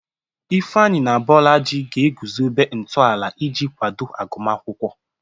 Ifeanyi na Bolaji ga-eguzobe ntọala iji kwado agụmakwụkwọ.